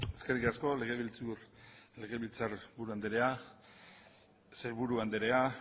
eskerrik asko legebiltzar buru andrea sailburu andrea